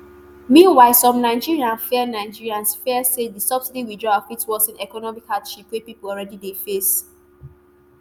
meanwhile some nigerians fear nigerians fear say di subsidy withdrawal fit worsen economic hardship wey pipo already dey face.